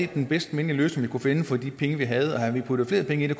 den bedste mindelige løsning vi kunne finde for de penge vi havde og havde vi puttet flere penge i det